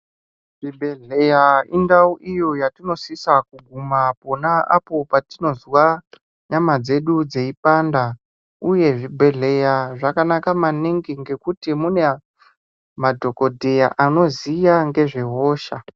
Zvibhehleya indau iyo yatinosisa kuguma pona apo patinozwa nyama dzedu dzeipanda uye zvibhehleya zvakanaka maningi ngekuti mune a madhokodheya anoziya ngezve hosha.